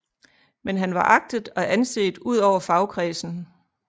Men han var agtet og anset ud over fagkredsen